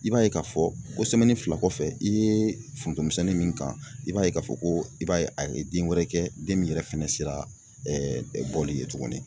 I b'a ye k'a fɔ ko fila kɔfɛ i ye foroto misɛnnin min kan, i b'a ye k'a fɔ ko i b'a ye a ye den wɛrɛ kɛ den min yɛrɛ fɛnɛ sera bɔli ye tugunni.